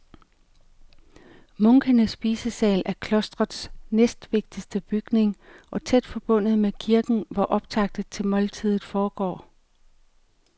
Munkenes spisesal er klostrets næstvigtigste bygning og tæt forbundet med kirken, hvor optakten til måltidet foregår.